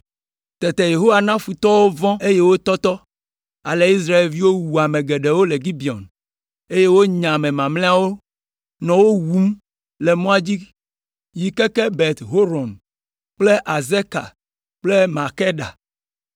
Tete Yehowa na futɔwo vɔ̃ eye wotɔtɔ, ale Israelviwo wu ame geɖewo le Gibeon, eye wonya ame mamlɛawo, nɔ wo wum le mɔa dzi yi keke Bet Horon kple Azeka kple Makeda.